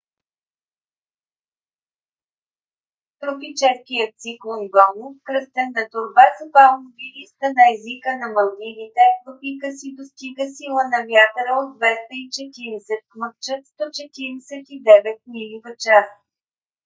тропическият циклон гону кръстен на торба с палмови листа на езика на малдивите в пика си достига сила на вятъра от 240 км/ч 149 мили в час